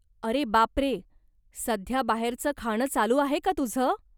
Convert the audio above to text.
अरे बापरे, सध्या बाहेरचं खाणं चालू आहे का तुझं?